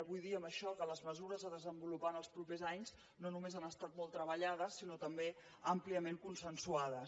vull dir amb això que les mesures a desenvolupar en els propers anys no només han estat molt treballades sinó també àmpliament consensuades